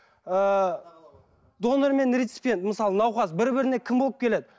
ыыы донормен мысалы науқас бір біріне кім болып келеді